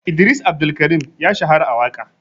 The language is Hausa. Idris Abdulkarim ya shahara a waƙa.